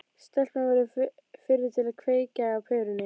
Stelpan verður fyrri til að kveikja á perunni.